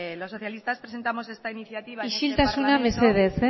los socialistas presentamos esta iniciativa en este parlamento isiltasuna mesedez